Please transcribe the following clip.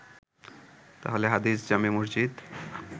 আহলে হাদিস জামে মসজিদে